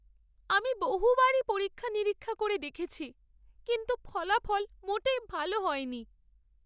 আমি বহুবারই পরীক্ষা নিরীক্ষা করে দেখেছি কিন্তু ফলাফল মোটেই ভাল হয়নি।